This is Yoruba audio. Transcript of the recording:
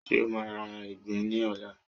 ṣe o ma ra ìgbín ní ọlá